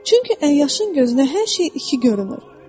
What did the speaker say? Çünki əyyaşın gözünə hər şey iki görünür.